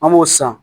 An b'o san